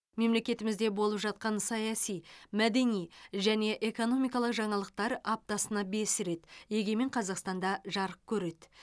мемлекетімізде болып жатқан саяси мәдени және экономикалық жаңалықтар аптасына бес рет егемен қазақстан да жарық көреді